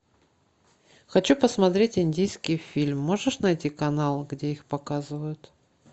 хочу посмотреть индийский фильм можешь найти канал где их показывают